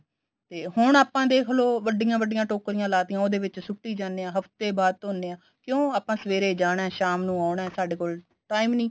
ਤੇ ਹੁਣ ਆਪਾਂ ਦੇਖ ਲੋ ਵੱਡੀਆਂ ਵੱਡੀਆਂ ਟੋਕਰੀਆਂ ਲਾਤੀਆਂ ਉਹਦੇ ਵਿੱਚ ਸੁੱਟੀ ਜਾਂਦੇ ਆ ਹਫਤੇ ਬਾਅਦ ਧੋਣੇ ਆ ਕਿਉਂ ਆਪਾ ਸਵੇਰੇ ਜਾਣਾ ਸ਼ਾਮ ਨੂੰ ਆਉਣਾ ਸਾਡੇ ਕੋਲ time ਨੀ